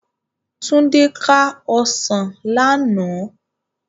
Tunde ká òsán làná